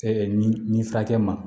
nin nin furakɛ ma